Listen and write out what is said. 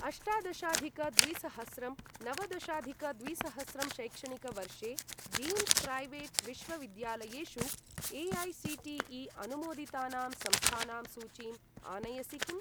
अष्टादशाधिक द्विसहस्रं नवदशाधिक द्विसहस्रं शैक्षणिकवर्षे डीम्ड् प्रैवेट् विश्वविद्यालयेषु ए.ऐ.सी.टी.ई.अनुमोदितानां संस्थानां सूचीं आनयसि किम्?